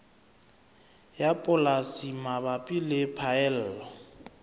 ya polasi mabapi le phaello